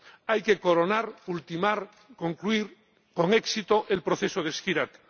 Hay que coronar, ultimar, concluir con éxito el proceso de Skhirat.